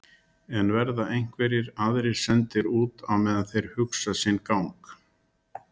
Bryndís Hólm: En verða einhverjir aðrir sendir út á meðan þeir hugsa sinn gang?